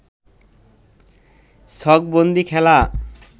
ছকবন্দী খেলা